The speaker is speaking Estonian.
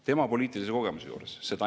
Tema poliitilise kogemuse juures!